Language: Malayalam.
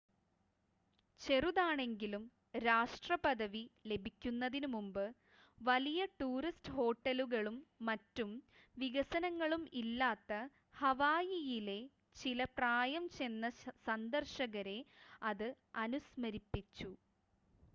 ചെറുതാണെങ്കിലും രാഷ്ട്രപദവി ലഭിക്കുന്നതിനു മുമ്പ് വലിയ ടൂറിസ്റ്റ് ഹോട്ടലുകളും മറ്റു വികസനങ്ങളും ഇല്ലാത്ത ഹവായിയിലെ ചില പ്രായംചെന്ന സന്ദർശകരെ അത് അനുസ്മരിപ്പിച്ചു